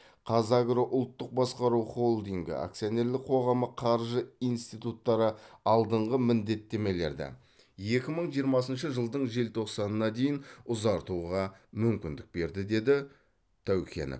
қазагро ұлттық басқару холдингі акционерлік қоғамы қаржы институттары алдыңғы міндеттемелерді екі мың жиырмасыншы жылдың желтоқсанына дейін ұзартуға мүмкіндік берді деді тәукенов